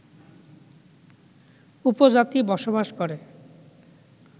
উপজাতি বসবাস করে